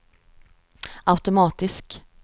automatisk